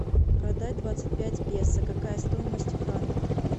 продать двадцать пять песо какая стоимость в франках